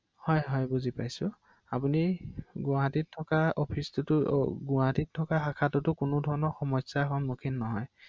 হয়